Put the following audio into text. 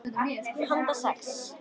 Handa sex